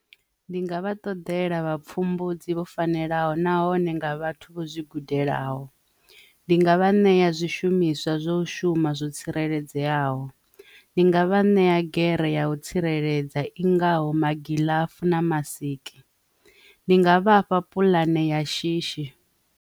Ndi nga vha ṱodela vha pfhumbudzi vho fanelaho nahone nga vhathu vho zwi gudelaho ndi nga vha ṋea zwishumiswa zwa u shuma zwo tsireledzeaho, ndi nga vha ṋea gere ya u tsireledza i ngaho magilafu na masikela ndi nga vhafha puḽane ya shishi.